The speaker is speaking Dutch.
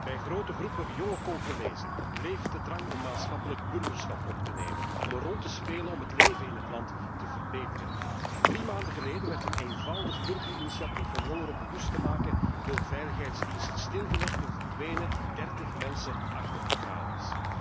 Bij grote groepen jonge Congolezen leeft de drang om maatschappelijk burgerschap op te nemen en een rol te spelen om het leven in het land te verbeteren. Drie maanden geleden werd een eenvoudig burgerinitiatief om jongeren bewust te maken, door veiligheidsdiensten stilgelegd en verdwenen dertig mensen achter de tralies.